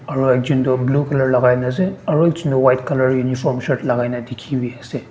aro ekjun do blue color lagai na ase aro ekjun tu white color uniform shirt lagai na dikhi wi ase.